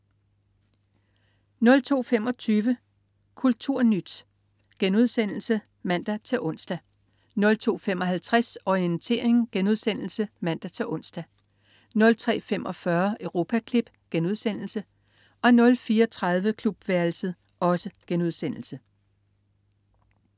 02.25 Kulturnyt* (man-ons) 02.55 Orientering* (man-ons) 03.45 Europaklip* 04.30 Klubværelset*